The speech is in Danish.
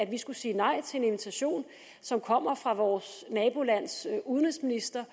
vi skulle sige nej til en invitation som kommer fra vores nabolands udenrigsminister